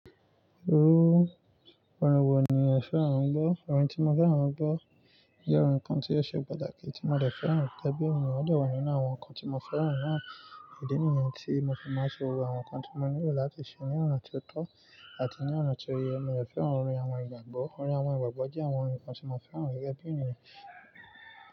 Orú, orin wo ni o fẹ́ràn láti gbọ́? Orin tí mo fẹ́ràn láti gbọ́ jẹ́ orin kan tí ó ṣe pàtàkì tí mo le fẹ́ràn gege bí ènìyàn, o dẹ wa nínú àwọn nǹkan tí mo fẹ́ràn náà. Ẹ̀dínìyen tí mo fi máa ń ṣe gbogbo àwọn nǹkan tí mo nílò láti ṣe ní ọ̀nà tó tọ́ àti ní ọ̀nà tó yẹ. Mo de fẹ́ràn orin àwọn ìgbàgbọ́. Orin àwọn ìgbàgbọ́ jẹ́ àwọn nǹkan tí mo fẹ́ràn gẹ́gẹ́ bí ènìyàn.